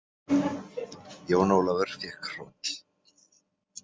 Jón Ólafur fékk hroll.